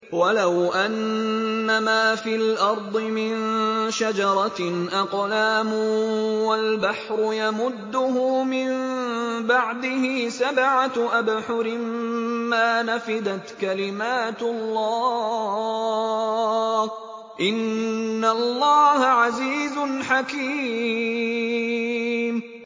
وَلَوْ أَنَّمَا فِي الْأَرْضِ مِن شَجَرَةٍ أَقْلَامٌ وَالْبَحْرُ يَمُدُّهُ مِن بَعْدِهِ سَبْعَةُ أَبْحُرٍ مَّا نَفِدَتْ كَلِمَاتُ اللَّهِ ۗ إِنَّ اللَّهَ عَزِيزٌ حَكِيمٌ